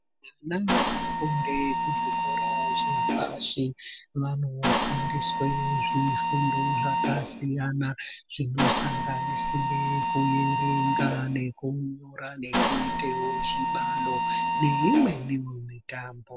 Ana anofunde kuzvikora zvepashi vanofundiswe zvifundo zvakasiyana-siyana zvinosanganisira kuerenga nekunyora nekuite zvibalo neimweniwo mitambo.